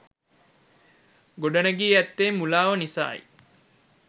ගොඩනැඟී ඇත්තේ මුලාව නිස යි.